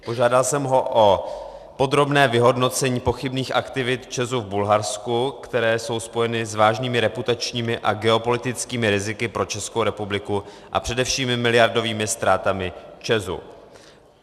Požádal jsem ho o podrobné vyhodnocení pochybných aktivit ČEZu v Bulharsku, které jsou spojeny s vážnými reputačními a geopolitickými riziky pro Českou republiku a především miliardovými ztrátami ČEZu.